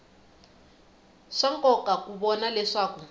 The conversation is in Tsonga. swa nkoka ku vona leswaku